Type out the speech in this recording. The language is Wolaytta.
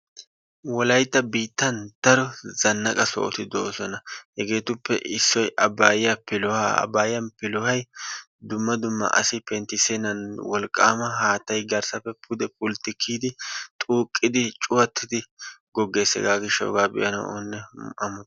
wolaytta biitan daro zanaqa sohotI de'oosona. hegeetuppe isoy abaaya piloha abaaya pilohay dumma dumma asi pentisennan wolqaama haatay garsappe pude kiyidi xuuqidi cuwatidi gogees, hegaa gishawu hega be'anawu oonne amotees.